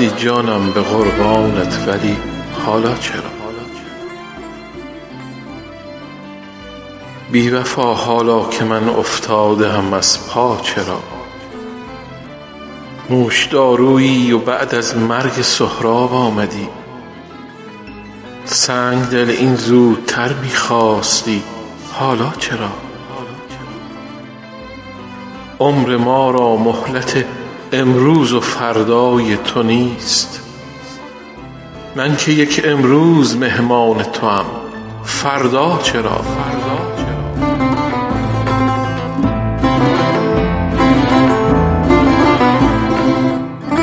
آمدی جانم به قربانت ولی حالا چرا بی وفا حالا که من افتاده ام از پا چرا نوشدارویی و بعد از مرگ سهراب آمدی سنگ دل این زودتر می خواستی حالا چرا عمر ما را مهلت امروز و فردای تو نیست من که یک امروز مهمان توام فردا چرا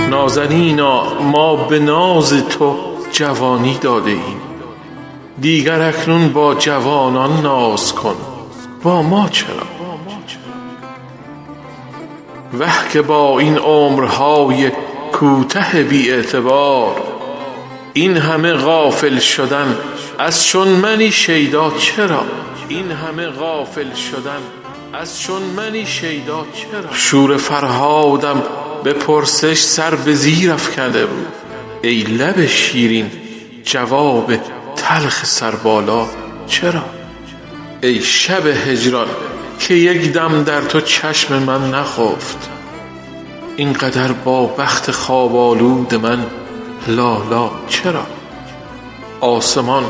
نازنینا ما به ناز تو جوانی داده ایم دیگر اکنون با جوانان ناز کن با ما چرا وه که با این عمرهای کوته بی اعتبار این همه غافل شدن از چون منی شیدا چرا شور فرهادم به پرسش سر به زیر افکنده بود ای لب شیرین جواب تلخ سربالا چرا ای شب هجران که یک دم در تو چشم من نخفت این قدر با بخت خواب آلود من لالا چرا آسمان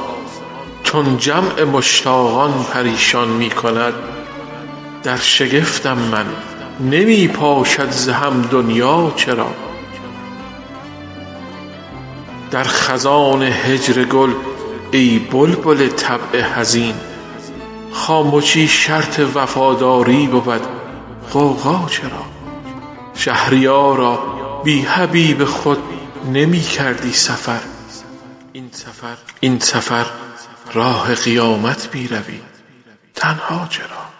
چون جمع مشتاقان پریشان می کند در شگفتم من نمی پاشد ز هم دنیا چرا در خزان هجر گل ای بلبل طبع حزین خامشی شرط وفاداری بود غوغا چرا شهریارا بی حبیب خود نمی کردی سفر این سفر راه قیامت می روی تنها چرا